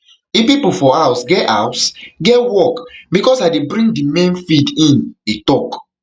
it pipo for house get house get work becos i dey bring di main feed in e tok